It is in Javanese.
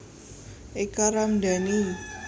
Eka Ramdani